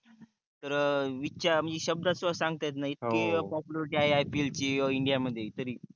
तर इथकया म्हणजे शब्दात पष्ट सांगता येत नाही हो इथकी popularity आहे IPL ची india मध्ये तरी